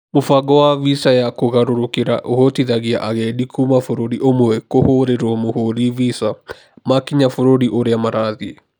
Mũbango wa visa ya kũgarũrũkĩra ũhotithagia agendi kuuma bũrũri ũmwe kũhorĩruo mũhũri visa, makinya bũrũri ũrĩa marathiĩ.